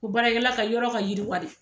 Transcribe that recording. U baarakɛla ka yɔrɔ ka yiriwa de.